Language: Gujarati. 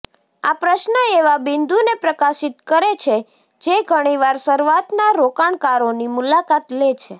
આ પ્રશ્ન એવા બિંદુને પ્રકાશિત કરે છે જે ઘણી વાર શરૂઆતના રોકાણકારોની મુલાકાત લે છે